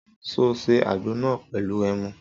Sọ sé àgbo nà pẹlú ẹmú?